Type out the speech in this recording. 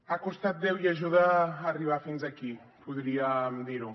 ha costat déu i ajuda arribar fins aquí podríem dir ho